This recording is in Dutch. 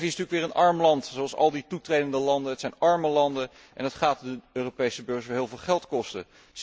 Servië is natuurlijk weer een arm land, zoals al die toetredende landen. Het zijn arme landen en dat gaat de Europese burger heel veel geld kosten.